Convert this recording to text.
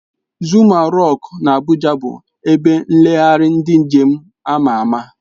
Zuma rock na abuja bu ebe nlegharị ndi njem ama ama.